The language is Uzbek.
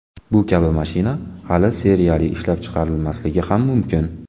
Bu kabi mashina hali seriyali ishlab chiqarilmasligi ham mumkin.